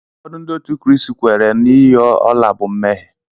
Ụfọdụ Ndị Kraịst kweere na iyi ọla bụ mmehie.